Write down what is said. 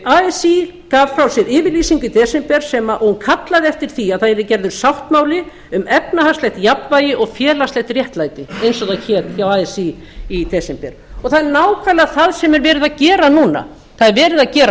así gaf frá sér yfirlýsingu í desember og kallað eftir því að það yrði gerður sáttmáli um efnahagslegt jafnvægi og félagslegt réttlæti eins og það hét hjá así í desember og það er nákvæmlega það sem verið er að gera núna það er verið að gera